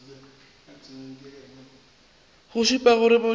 go šupe gore motho a